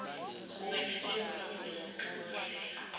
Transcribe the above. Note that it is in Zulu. ubephethe ivolovolo nenhlokohlela